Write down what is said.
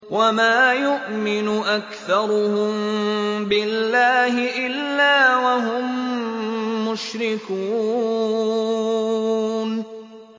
وَمَا يُؤْمِنُ أَكْثَرُهُم بِاللَّهِ إِلَّا وَهُم مُّشْرِكُونَ